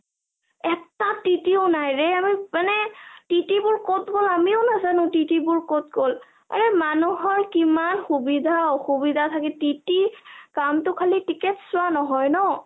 এটা টিতিও নাই ৰে আমি মানে টিতিবোৰ কত গল আমিও নাজানো টিতিবোৰ কত গল আৰে মানুহৰ কিমান সুবিধা অসুবিধা থাকে টিতি কামটো খালি ticket চোৱা নহয় ন !